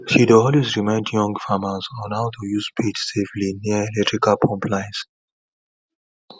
she dey always remind young farmers on how to use spade safely near electrical pump lines